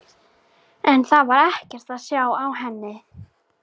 En það var ekkert að sjá á henni.